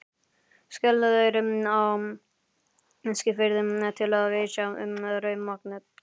Skeleyri á Eskifirði, til að vitja um rauðmaganet.